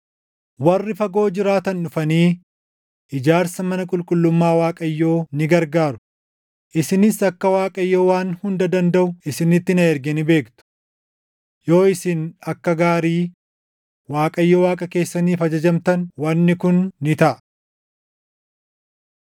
Warri fagoo jiraatan dhufanii ijaarsa mana qulqullummaa Waaqayyoo ni gargaaru; isinis akka Waaqayyo Waan Hunda Dandaʼu isinitti na erge ni beektu. Yoo isin akka gaarii Waaqayyo Waaqa keessaniif ajajamtan wanni kun ni taʼa.”